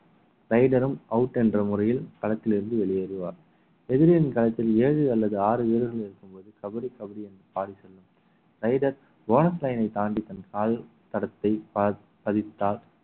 raider ம் out என்ற முறையில் களத்திலிருந்து வெளியேறுவார் எதிரிகளின் களத்தில் ஏழு அல்லது ஆறு வீரர்கள் இருக்கும்போது கபடி கபடி என்று பாடிச் செல்லும் raider bonus line ஐ தாண்டி தன் கால் தடத்தை பா~ பதித்தால்